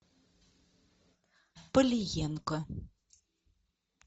полиенко